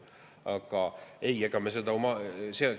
Aga ei, ega me seda ...